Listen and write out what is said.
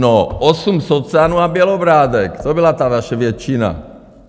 No, osm socanů a Bělobrádek, to byla ta vaše většina.